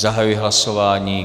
Zahajuji hlasování.